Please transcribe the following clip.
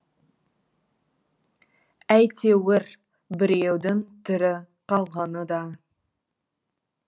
әйтеуір біреудің тірі қалғаны да